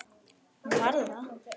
Hún var það.